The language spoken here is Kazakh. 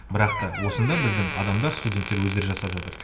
бірақ та осында біздің адамдар студенттер өздері жасап жатыр